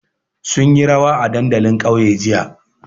Sun yi rawa a dandalin ƙauye jiya.